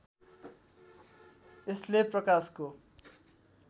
यसले प्रकाशको